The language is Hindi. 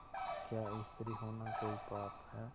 क्या स्त्री होना कोई पाप है